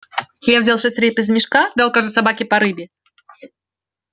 я взял шесть рыб из мешка дал каждой собаке по рыбе